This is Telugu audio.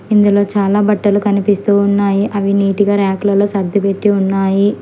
ఇందులో చాలా బట్టలు కనిపిస్తూ ఉన్నాయి అవి నీటుగా ర్యాకు లలో సర్దిపెట్టి ఉన్నాయి.